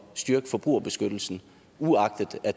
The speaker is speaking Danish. styrke forbrugerbeskyttelsen uagtet at